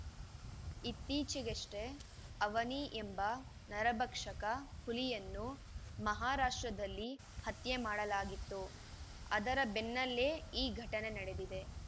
ಇತ್ತೀಚೆಗಷ್ಟೇ ಅವನಿ ಎಂಬ ನರಭಕ್ಷಕ ಹುಲಿಯನ್ನು ಮಹಾರಾಷ್ಟ್ರದಲ್ಲಿ ಹತ್ಯೆ ಮಾಡಲಾಗಿತ್ತು ಅದರ ಬೆನ್ನಲ್ಲೇ ಈ ಘಟನೆ ನಡೆದಿದೆ